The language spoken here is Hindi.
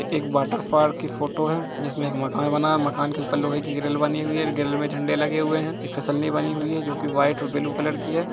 एक वाटरपार्क की फोटो हैँ जिसमें एक मकान बना हुआ हैँ मकान के ऊपर लोहे की ग्रिल बने हुए हैँ ग्रिल में झंडे लगे हुए हैँ एक फिसलनी बने हुई हैँ जो के व्हाइट और ब्लू कलर की हैँ ।